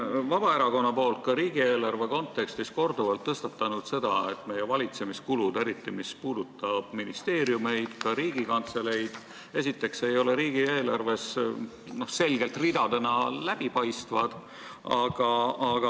Vabaerakond on siin riigieelarve kontekstis korduvalt tõstatanud ka selle teema, et meie valitsemiskulud – eriti ministeeriumite ja ka Riigikantselei kulud – ei ole riigieelarves esitatud selgete ridadena ega läbipaistvalt.